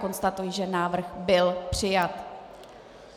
Konstatuji, že návrh byl přijat.